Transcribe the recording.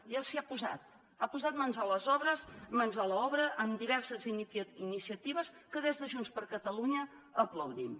ja s’hi ha posat ha posat mans a l’obra amb diverses iniciatives que des de junts per catalunya aplaudim